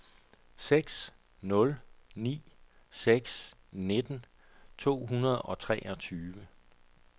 seks nul ni seks nitten to hundrede og treogtyve